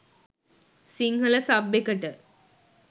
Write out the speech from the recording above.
Sinhala sub එකට.